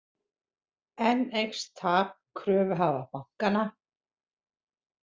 Enn eykst tap kröfuhafa bankanna